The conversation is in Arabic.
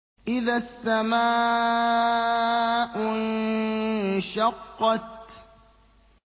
إِذَا السَّمَاءُ انشَقَّتْ